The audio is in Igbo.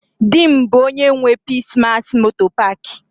Di m bu onye nwe Peace mass motor park.